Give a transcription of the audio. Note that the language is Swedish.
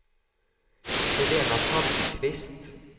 Helena Palmqvist